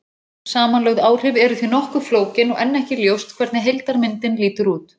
Samanlögð áhrif eru því nokkuð flókin og enn ekki ljóst hvernig heildarmyndin lítur út.